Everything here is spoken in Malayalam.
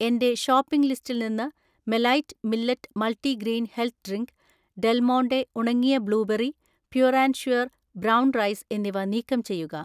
എന്‍റെ ഷോപ്പിംഗ് ലിസ്റ്റിൽ നിന്ന് മെലൈറ്റ് millet multigrain health drink, Del Monte ഉണങ്ങിയ blueberry, pure and sure brown rice എന്നിവ നീക്കം ചെയ്യുക.